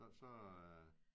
Så så er